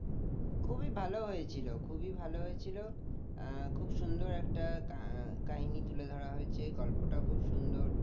খুবই ভালো হয়েছিল খুবই ভালো হয়েছিল আহ খুব সুন্দর একটা কাহিনী তুলে ধরা হয়েছে গল্পটাও খুব সুন্দর